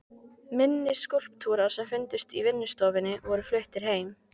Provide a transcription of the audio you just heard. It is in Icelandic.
Minni skúlptúrar sem fundust í vinnustofunni voru fluttir heim.